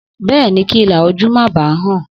Bẹ́ẹ̀ni, kí ilà ojú má ba hàn.